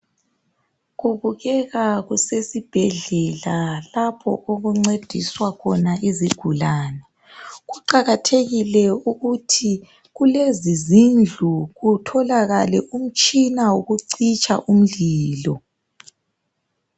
Kubukeka kusesibhedlela lapho okuncediswa khona izigulane. Kuqakathekile ukuthi kulezi zindlu kutholakale umtshina wokucitsha umlilo.